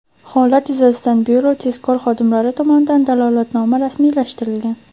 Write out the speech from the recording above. Holat yuzasidan byuro tezkor xodimlari tomonidan dalolatnoma rasmiylashtirilgan.